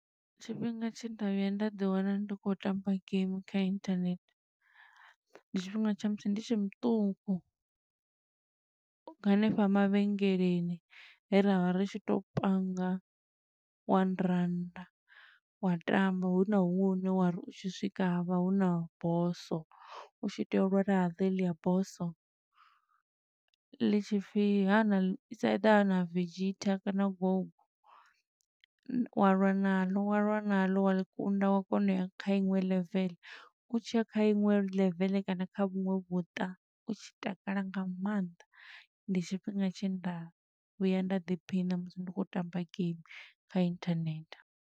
Tshifhinga tshe nda vhuya nda ḓi wana ndi khou tamba game kha inthanethe. Ndi tshifhinga tsha musi ndi tshe muṱuku, hanefha mavhengeleni he ra vha ri tshi tou panga one rannda, wa tamba huna huṅwe hune wa ri u tshi swika, ha vha huna bosso, u tshi tea u lwa na ḽo heḽia bosso. Ḽi tshi pfi ha na ḽi, is either ha na Vegita kana Gouku. Wa lwa na ḽo, wa lwa na ḽo, wa ḽi kunda wa kona u ya kha iṅwe level. U tshiya kha iṅwe level kana kha vhuṅwe vhuṱa, u tshi takala nga maanḓa. Ndi tshifhinga tshe nda vhuya nda ḓiphina musi ndi khou tamba game kha inthanethe.